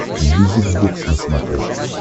мьюзик бокс на смотрешке